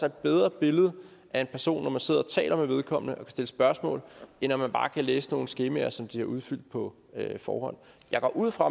et bedre billede af en person når man sidder og taler med vedkommende og kan stille spørgsmål end når man bare kan læse nogle skemaer som de har udfyldt på forhånd jeg går ud fra